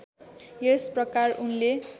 यस प्रकार उनले